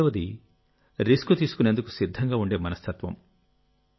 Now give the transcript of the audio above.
రెండవది రిస్క్ తీసుకునేందుకు సిద్ధంగా ఉండే మనస్తత్వం